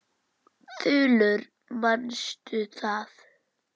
Þulur: Manstu það?